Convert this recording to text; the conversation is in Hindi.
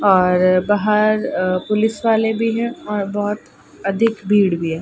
और बाहर पुलिस वाले भी है और बहोत अधिक भीड़ भी है।